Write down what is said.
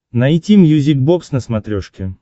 найти мьюзик бокс на смотрешке